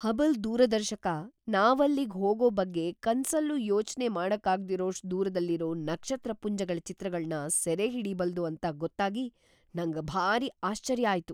Hubble ದೂರದರ್ಶಕ ನಾವಲ್ಲಿಗ್ ಹೋಗೋ ಬಗ್ಗೆ ಕನ್ಸಲ್ಲೂ ಯೋಚ್ನೆ ಮಾಡಕ್ಕಾಗ್ದಿರೋಷ್ಟ್ ದೂರದಲ್ಲಿರೋ ನಕ್ಷತ್ರಪುಂಜಗಳ ಚಿತ್ರಗಳ್ನ ಸೆರೆಹಿಡೀಬಲ್ದು ಅಂತ ಗೊತ್ತಾಗಿ ನಂಗ್‌ ಭಾರೀ ಆಶ್ಚರ್ಯ ಆಯ್ತು!